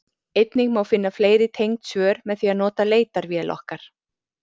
einnig má finna fleiri tengd svör með því að nota leitarvél okkar